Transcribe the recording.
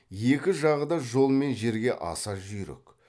екі жағы да жол мен жерге аса жүйрік